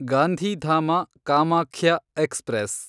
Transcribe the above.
Gandhidham Kamakhya express